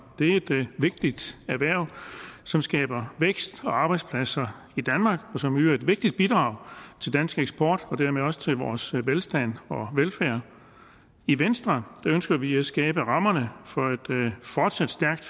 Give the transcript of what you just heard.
er et vigtigt erhverv som skaber vækst og arbejdspladser i danmark og som yder et vigtigt bidrag til dansk eksport og dermed også til vores velstand og velfærd i venstre ønsker vi at skabe rammerne for et fortsat stærkt